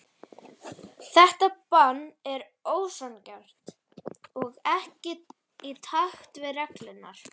Þar er beitt eftirfarandi skilgreiningu: